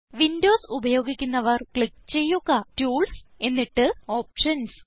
Windows ഉപയോഗിക്കുന്നവർ click ചെയ്യുക tools എന്നിട്ട് ഓപ്ഷൻസ്